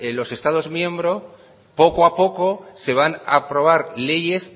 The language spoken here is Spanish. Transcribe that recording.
los estados miembro poco a poco se van a aprobar leyes